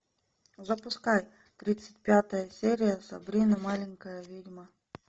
запускай тридцать пятая серия сабрина маленькая ведьма